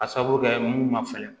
A sabu kɛ mun ma fɛrɛ